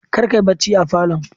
Kar kayi barci a falon